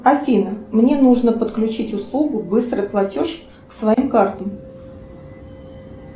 афина мне нужно подключить услугу быстрый платеж к своим картам